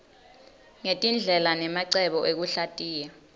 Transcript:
ngetindlela nemacebo ekuhlatiya